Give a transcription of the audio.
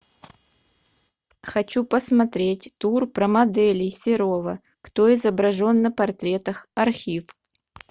хочу посмотреть тур про моделей серова кто изображен на портретах архив